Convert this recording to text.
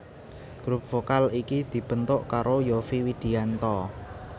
Grup vokal iki dibentuk karo Yovie Widianto